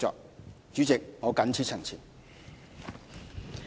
代理主席，我謹此陳辭。